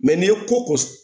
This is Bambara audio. Mɛ n'i ye ko ko